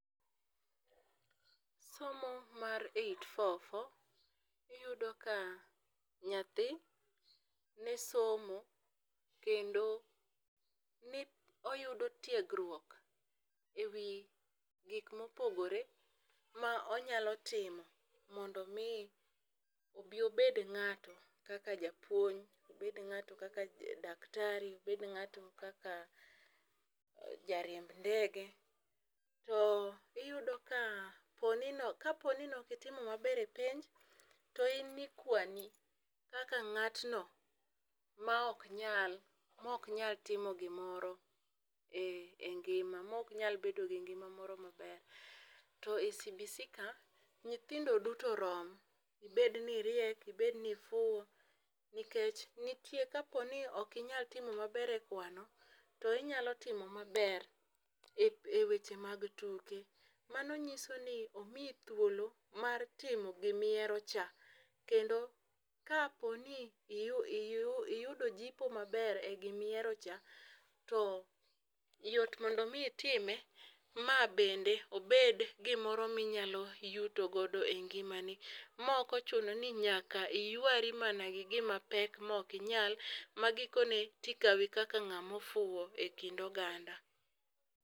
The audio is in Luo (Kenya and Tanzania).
Somo mar eight four four iyudo ka nyathi ne somo kendo ne oyudo tiegruok ewi gik mopogore ma onyalo timo mondo mi obi obed ng'ato kaka japuonj, obed ng'ato kaka daktari, obed ng'ato kaka jariemb ndege. To iyudo ka poni kaponi noki timo maber e penj to in nikwani kaka ng'atno ma ok nyal mok nya timo gimoro e ngima mok nyal bedo gi ngima moro maber to e CBC ka , nyithindo duto rom ibed ni iriek ibed ni ifuwo nikech nitie kapo ni ok inya timo maber ekwano to inya timo maber eweche mag tuke. Mano nyiso ni omiyo thuolo mar timo gimi hero cha kendo kapo ni iyu iyudo jipo maber e gimihero cha to yot mondo mi itime mabende obed gimoro minyalo yuto godo e ngimani, mokochuno ni nyaka iywari mana gi gima pek moki nyal ma gikone tikawi kaka ng'ama ofuwo e kind oganda.